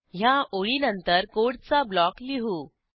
ह्या ओळीनंतर कोडचा ब्लॉक लिहू